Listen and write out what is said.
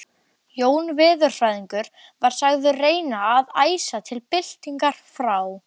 Jón veðurfræðingur var sagður reyna að æsa til byltingar frá